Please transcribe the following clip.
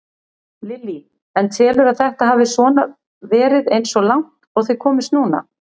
Lillý: En telurðu að þetta hafi svona verið eins og langt og þið komist núna?